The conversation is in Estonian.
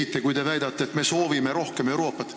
Te eksite, kui väidate, et me soovime rohkem Euroopat.